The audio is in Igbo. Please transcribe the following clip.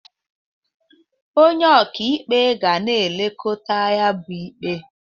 Onye ọka ikpe ga na-elekota ya bu ikpe.